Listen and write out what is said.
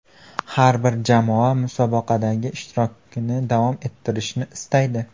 Har bir jamoa musobaqadagi ishtirokini davom ettirishni istaydi.